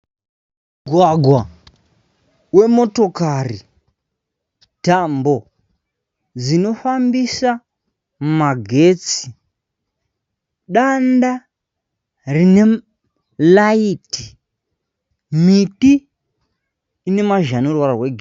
Mugwagwa wemotokari. Tambo dzinofambisa magetsi. Danda rine raiti . Miti ine mashizha ane ruvara rwegirini.